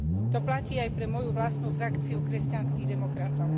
To platí aj pre moju vlastnú frakciu Kresťanských demokratov.